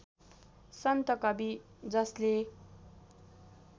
सन्त कवि जसले